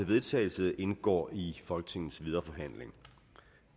vedtagelse indgår i folketingets videre forhandling